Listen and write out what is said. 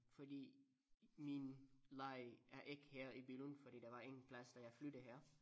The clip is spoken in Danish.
Fordi min læge er ikke her i Billund fordi der var ingen plads da jeg flyttede her